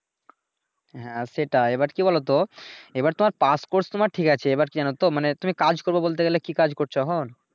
হ্যাঁ, সেটাই এবার কি বলোতো, এইবার তো আর পাস কোর্স তোমার ঠিক আছে এইবার জানো তো মানে তুমি কাজ করবা বলতে গেলে কি কাজ করছো এখন